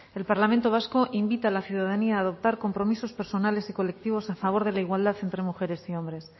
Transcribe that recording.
el parlamento vasco invita a la ciudadanía a adoptar compromisos personales y colectivos a favor de la igualdad entre mujeres y hombres